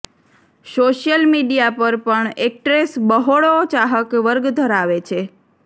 social media પર પણ actress બહોળો ચાહક વર્ગ ધરાવે છે